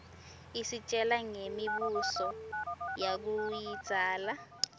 isitjela ngemi buso yakuidzala